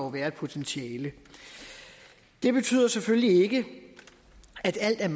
være et potentiale det betyder selvfølgelig ikke at alt